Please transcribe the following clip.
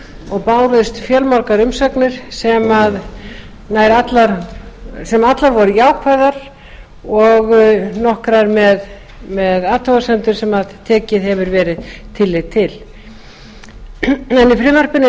og bárust fjölmargar umsagnir sem allar voru jákvæðar og nokkrar með athugasemdum sem tekið hefur verið tillit til í frumvarpinu er